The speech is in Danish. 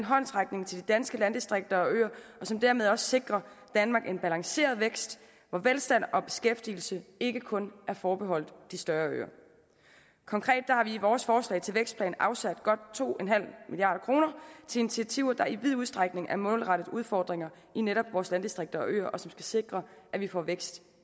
håndsrækning til de danske landdistrikter og øer og som dermed også sikrer danmark en balanceret vækst hvor velstand og beskæftigelse ikke kun er forbeholdt de større øer konkret har vi i vores forslag til vækstplan afsat godt to milliard kroner til initiativer der i vid udstrækning er målrettet udfordringer i netop vores landdistrikter og øer og som skal sikre at vi får vækst